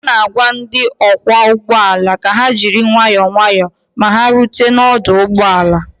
a na-agwa ndị ọkwọ ụgbọ ala ka ha jiri nwayọ nwayọ ma ha rute n'ọdụ ụgbọ ala